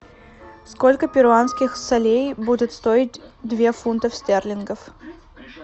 сколько перуанских солей будет стоить две фунтов стерлингов